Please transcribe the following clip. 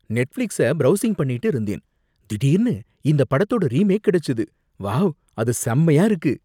Netflix browsing பண்ணிகிட்டு இருந்தேன், திடீர்னு இந்தப் படத்தோட ரீமேக் கிடைச்சது. வாவ், அது செம்மயா இருக்கு